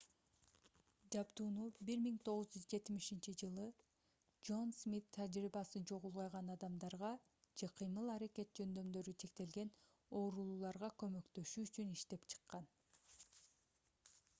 жабдууну 1970-жж джон смит тажрыйбасы жок улгайган адамдарга же кыймыл-аракет жөндөмдөрү чектелген оорулууларга көмөктөшүү үчүн иштеп чыккан